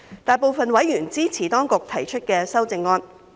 大部分委員支持當局提出的修正案。